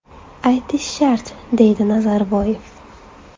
Aytish shart”, deydi Nazarboyev.